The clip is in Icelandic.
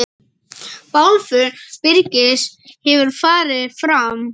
Bálför Birgis hefur farið fram.